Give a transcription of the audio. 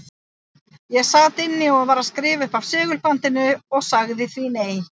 Ég sat hér inni og var að skrifa upp af segulbandinu og sagði því nei.